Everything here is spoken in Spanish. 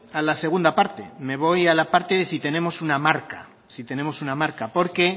a la segunda parte me voy a la parte de si tenemos una marca porque